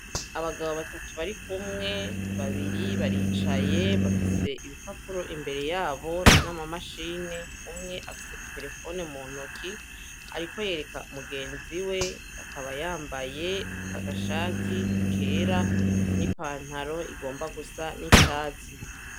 Abagabo batatu barikumwe, babiri baricaye, bafise ibipapuro imbere yabo, no mumashini, umwe afise iterefone muntoki, ariko yereka mugenziwe, akaba yambaye agashati kera n'ipantaro igomba gusa n'icatsi.